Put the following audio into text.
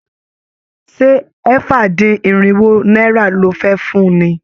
Ṣé ẹ̀fà-dín-irinwo náírà lo fẹ́ fun ni?